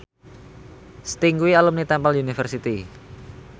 Sting kuwi alumni Temple University